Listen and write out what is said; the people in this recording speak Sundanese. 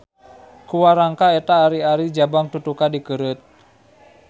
Ku warangka eta ari-ari Jabang Tutuka dikeureut.